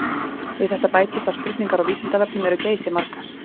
Við þetta bætist að spurningar á Vísindavefnum eru geysimargar.